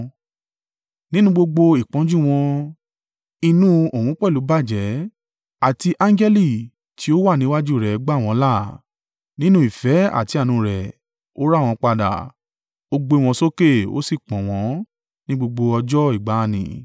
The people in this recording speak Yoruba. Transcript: Nínú gbogbo ìpọ́njú wọn, inú òun pẹ̀lú bàjẹ́ àti angẹli tí ó wà níwájú rẹ̀ gbà wọ́n là. Nínú ìfẹ́ àti àánú rẹ̀, ó rà wọ́n padà; ó gbé wọn sókè ó sì pọ̀n wọ́n ní gbogbo ọjọ́ ìgbà n nì.